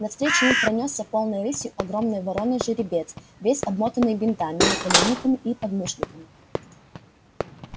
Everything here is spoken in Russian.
навстречу им пронёсся полной рысью огромный вороной жеребец весь обмотанный бинтами наколенниками и подмышниками